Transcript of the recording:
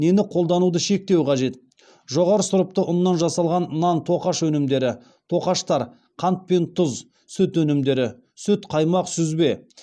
нені қолдануды шектеу қажет жоғары сұрыпты ұннан жасалған нан тоқаш өнімдері тоқаштар қант пен тұз сүт өнімдері сүт қаймақ сүзбе